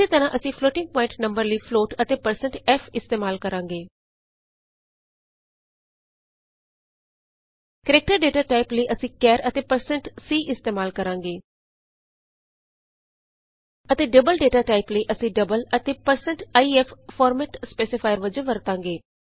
ਇਸੇ ਤਰ੍ਹਾਂ ਅਸੀਂ ਫਲੋਟਿੰਗ ਪੋਆਇੰਟ ਨੰਬਰ ਲਈ ਫਲੋਟ ਅਤੇ160 f ਇਸਤੇਮਾਲ ਕਰਾਂਗੇ ਕਰੈਕਟਰ ਡਾਟਾ ਟਾਈਪ ਲਈ ਅਸੀਂ ਕੈਰ ਅਤੇ 160c ਇਸਤੇਮਾਲ ਕਰਾਂਗੇ ਅਤੇ ਡਬਲ ਡਾਟਾ ਟਾਈਪ ਲਈ ਅਸੀਂ ਡਬਲ ਅਤੇ 160 ਐਲਐਫ ਫੋਰਮੈਟ ਸਪੈਸੀਫਾਇਰ ਵਜੋਂ ਵਰਤਾਂਗੇ